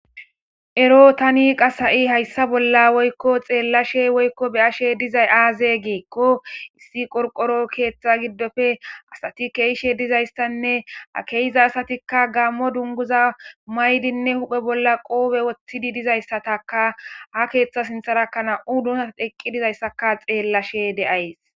ero tani qas ha7i hayssa bolla woykko xeellashe woykko be7ashe dizay aaze geekko issi qorqoro keeththa giddofe asati keeishe dizayssanne akeyiza asatikka gammo dunguza maydinne huphe bolla qoobe woththidi dizayssataka ha keeththa sintharakana7u dunsa eqqi dizayssaka xeellashe de7ays